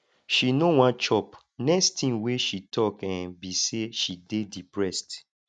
she no wan chop next thing she talk um be say she dey depressed